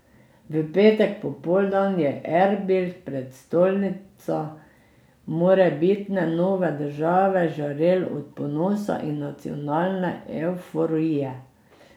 V petek popoldan je Erbil, prestolnica morebitne nove države, žarel od ponosa in nacionalne evforije.